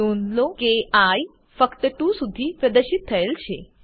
નોંધ લો કે આઇ ફક્ત 2 સુધી પ્રદર્શિત થયેલ છે